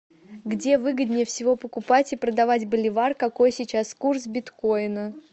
где выгоднее всего покупать и продавать боливар какой сейчас курс биткоина